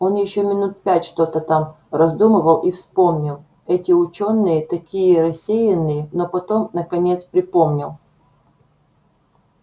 он ещё минут пять что-то там раздумывал и вспомнил эти учёные такие рассеянные но потом наконец припомнил